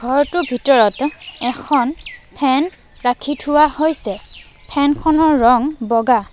ঘৰটোৰ ভিতৰত এখন ফেন ৰাখি থোৱা হৈছে ফেন খনৰ ৰং বগা।